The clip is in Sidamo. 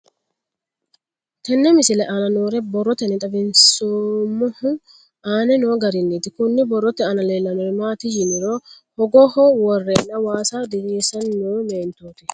Tenne misile aana noore borroteni xawiseemohu aane noo gariniiti. Kunni borrote aana leelanori maati yiniro hogaho woreena waasa diriisisann noo meentooti.